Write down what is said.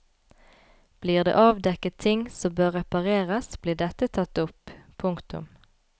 Blir det avdekket ting som bør repareres blir dette tatt opp. punktum